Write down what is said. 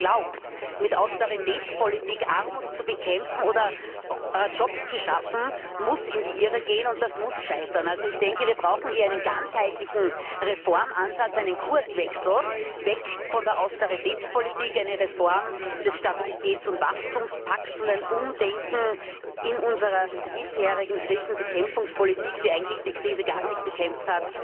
Wer glaubt, mit Austeritätspolitik Armut bekämpfen oder Jobs schaffen zu können, muss in die Irre gehen, und das muss scheitern. Wir brauchen hier einen ganzheitlichen Reformansatz, einen Kurswechsel weg von der Austeritätspolitik, eine Reform des Stabilitäts und Wachstumspakts und ein Umdenken in unserer bisherigen Krisenbekämpfungspolitik, die eigentlich die Krise gar nicht bekämpft,